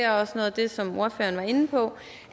også noget af det som ordføreren var inde på